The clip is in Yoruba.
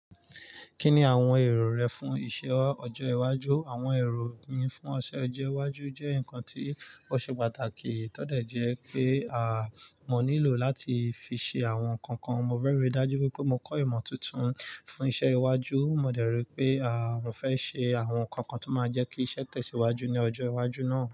Kí ni àwọn èrò rẹ fún iṣẹ́ ọjọ́ iwájú? Àwọn èrò mi fún iṣẹ́ ọjọ́ iwájú jẹ́ nǹkan tí ó ṣe pàtàkì. Kí tọ́ dẹ̀ jẹ́ pé àmọ́ nílò láti fi ṣe àwọn nǹkan kan. Mo rẹ́rẹ́ dájú pé mo kọ́ ìmọ̀ tuntun fún iṣẹ́ iwájú. Mo dẹ̀ rí pé àmọ́ fẹ́ ṣe àwọn nǹkan kan tó máa jẹ́ kí iṣẹ́ tẹ̀síwájú ní ọjọ́ iwájú náà.